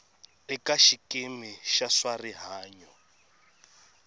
eka xikimi xa swa rihanyo